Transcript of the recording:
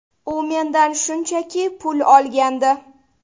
U mendan shunchaki pul olgandi.